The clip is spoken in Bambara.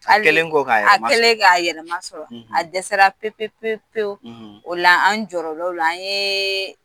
A kɛlen kɔ k'a yɛrɛ a kɛlen kɔ k'a yɛrɛ masɔrɔ a dɛsɛra m'o o fɛn sɔrɔ fɔlɔ pewu pewu pewu o la an jɔrɔla o la an ye